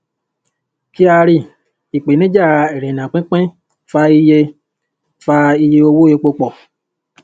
kyari: ìpèníjà ìrìnà/pínpín fa iye fa iye owó epo pọ̀.